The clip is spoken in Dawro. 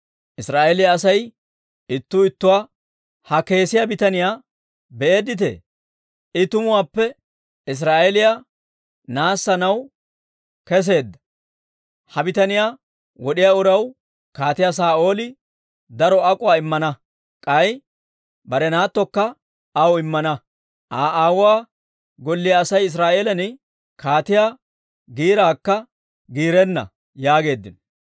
Israa'eeliyaa Asay ittuu ittuwaa, «Ha kesiyaa bitaniyaa be'eedditee? I tumuwaappe Israa'eeliyaa naassanaw kesseedda! Ha bitaniyaa wod'iyaa uraw Kaatiyaa Saa'ooli daro ak'uwaa immana; k'ay bare naattokka aw immana; Aa aawuwaa golliyaa Asay Israa'eelan kaatiyaa giiraakka giirenna» yaageeddino.